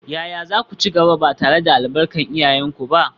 Yaya za ku ci gaba, ba tare da albarkar iyayenku ba?